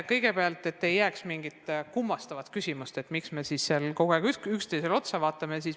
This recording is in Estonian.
Kõigepealt, et ei jääks mingit kummalist küsimust, miks me siis seal kogu aeg üksteisele otsa vaatame.